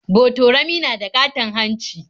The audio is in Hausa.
Botorami na da ƙaton hanci.